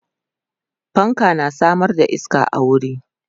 fanka tana Samar da iska a wuri